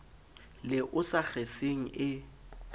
le o sa kgeseng e